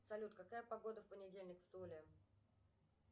салют какая погода в понедельник в туле